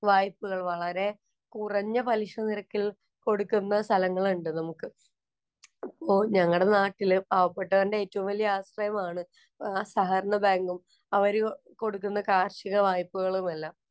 വായ്പകള്‍ വളരെ കുറഞ്ഞ പലിശനിരക്കില്‍ കൊടുക്കുന്ന സ്ഥലങ്ങള്‍ ഉണ്ട് നമുക്ക്. അപ്പൊ ഞങ്ങടെ നാട്ടിലെ പാവപ്പെട്ടവന്‍റെ ഏറ്റവും വലിയ ആശ്രയമാണ് ആ സഹകരണബാങ്കും, അവര് കൊടുക്കുന്ന കാര്‍ഷിക വായ്പകളുമെല്ലാം.